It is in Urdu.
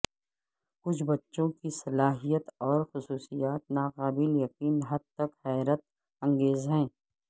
کچھ بچوں کی صلاحیت اور خصوصیات ناقابل یقین حد تک حیرت انگیز ہیں